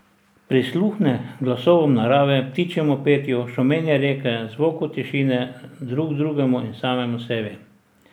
Prisluhne glasovom narave, ptičjemu petju, šumenju reke, zvoku tišine, drug drugemu in samemu sebi.